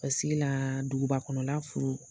Paseke la duguba kɔnɔna la furu